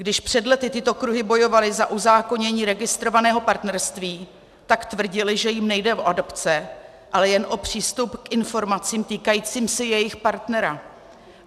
Když před lety tyto kruhy bojovaly za uzákonění registrovaného partnerství, tak tvrdily, že jim nejde o adopce, ale jen o přístup k informacím týkajícím se jejich partnera.